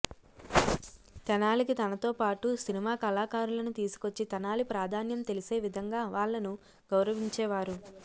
తెనాలికి తనతో పాటు సినిమా కళాకారులను తీసుకొచ్చి తెనాలి ప్రాధాన్యం తెలిసేవిధంగా వాళ్లను గౌరవించేవారు